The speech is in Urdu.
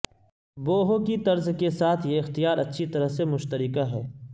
بوہو کی طرز کے ساتھ یہ اختیار اچھی طرح سے مشترکہ ہے